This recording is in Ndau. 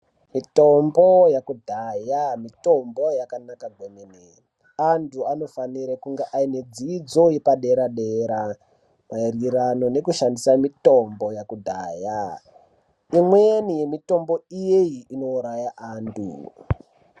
Mitombo yekudhaya mitombo yakanaka kwemene anthu anofanira kunge aine dzidzo yepadera dera maererano nekushandisa mitombo yakudhaya imweni mitombo iyeyi inouraya anthu.